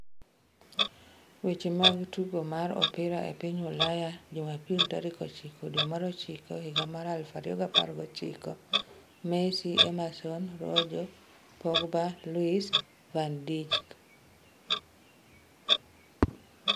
Weche mag tugo mar opira e piny Ulaya Jumapil tarik 09.09.2019: Messi, Emerson, Rojo, Pogba, Luis, van Dijk